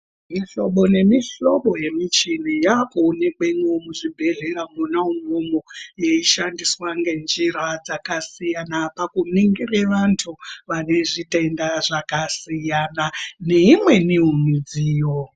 Mihlobo nemihlobo yemichini yakuonekwemwo muzvibhedhlera mwona umwomwo yeishandiswe ngenjira dzakasiyana pakuningire vanhu vane zvitenda zvakasiyana siyana neimweniwo midziyo.